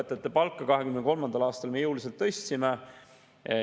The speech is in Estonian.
Me tõstsime õpetajate palka 2023. aastal jõuliselt.